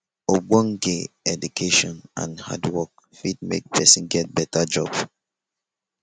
ogbonge education and hand work fit make persin get better job